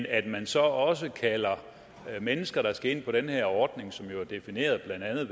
er at man så også kalder mennesker der skal ind på den her ordning som jo er defineret blandt andet